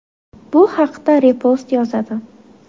Bu haqda Repost yozadi .